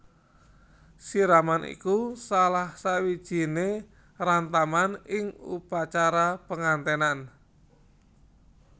Siraman iku salah siwijiné rantaman ing upacara pengantènan